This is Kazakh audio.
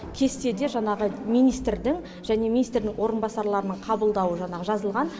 кестеде жаңағы министрдің және министрдің орынбасарларының қабылдауы жаңағы жазылған